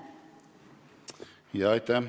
Aitäh!